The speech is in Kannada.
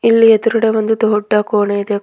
ಇಲ್ಲಿ ಎದ್ರುಗಡೆ ಒಂದು ದೊಡ್ಡ ಕೋಣೆ ಇದೆ.